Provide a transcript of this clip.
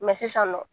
sisan nɔ